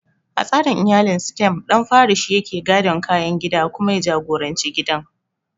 A tsarin iyalin Sitem, ɗan fari shi yake gadon kayan gida kuma ya jagoranci gidan.